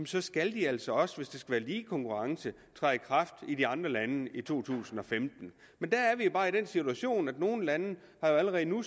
så skal de altså også hvis der lige konkurrence træde i kraft i de andre lande i to tusind og femten men der er vi bare i den situation at nogle lande jo allerede nu